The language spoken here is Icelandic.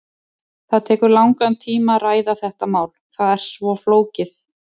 Það tekur langan tíma að ræða þetta mál, það er svo flókið.